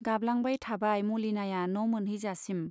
गाबलांबाय थाबाय मलिनाया न' मोनहैजासिम।